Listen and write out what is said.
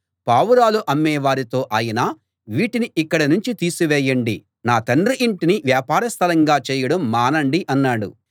పావురాలు అమ్మేవారితో ఆయన వీటిని ఇక్కడ్నించి తీసివేయండి నా తండ్రి ఇంటిని వ్యాపార స్థలంగా చేయడం మానండి అన్నాడు